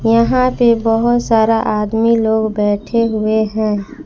यहां पे बहोत सारा आदमी लोग बैठे हुए हैं।